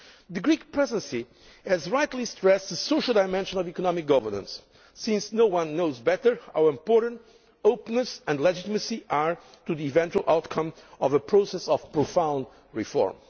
The Greek Presidency has rightly stressed the social dimension of economic governance, since no one knows better how important openness and legitimacy are to the eventual outcome of a process of profound reform.